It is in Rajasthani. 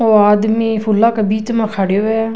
ओ आदमी फुला के बीच में खड्यो है।